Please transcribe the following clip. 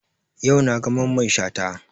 Yau na ga Mamman Shata